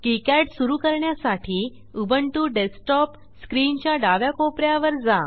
KiCad सुरू करण्यासाठी Ubuntu desktop स्क्रीनच्या डाव्या कोप यावर जा